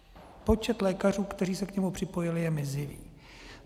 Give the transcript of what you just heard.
Počet lékařů, kteří se k tomu připojili, je mizivý.